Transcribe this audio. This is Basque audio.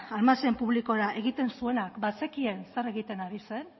almazen publikora egiten zuenak bazekien zer egiten ari zen